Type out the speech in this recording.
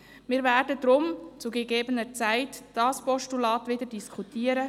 Wir werden deshalb zu gegebener Zeit dieses Postulat diskutieren.